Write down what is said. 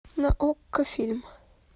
на окко фильм